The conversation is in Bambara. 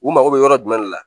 U mago bɛ yɔrɔ jumɛn de la